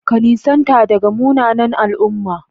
Ka nisanta daga munanan al'umma.